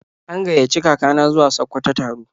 An gaiyaci kaka na zuwa Sakkwato taro.